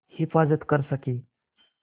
हिफ़ाज़त कर सकें